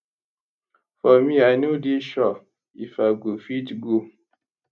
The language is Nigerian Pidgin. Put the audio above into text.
for me i no dey sure if i go fit go